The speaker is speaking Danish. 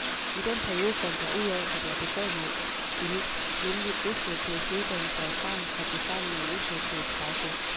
I den periode fandt jeg ud af, at jeg besad noget unikt, nemlig vesteuropæisk uddannelse og erfaring koblet sammen med en østeuropæisk baggrund.